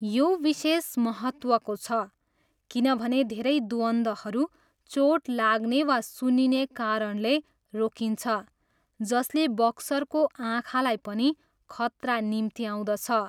यो विशेष महत्त्वको छ किनभने धेरै द्वन्द्वहरू चोट लाग्ने वा सुन्निने कारणले रोकिन्छ जसले बक्सरको आँखालाई पनि खतरा निम्त्याउँदछ।